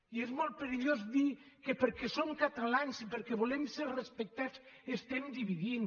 i és molt perillós dir que perquè som catalans i perquè volem ser respectats estem dividint